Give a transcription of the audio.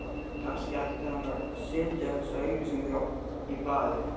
Kannski ætti hann að setja þessa auglýsingu í blaðið